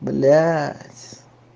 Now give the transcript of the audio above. блядь